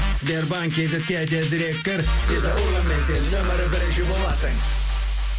сбербанк кейзетке тезірек кір виза урбанмен сен нөмірі бірінші боласын